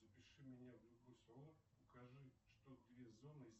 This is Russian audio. запиши меня в любой салон укажи что две зоны